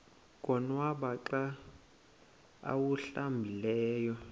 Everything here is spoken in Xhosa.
konwaba xa awuhlambileyo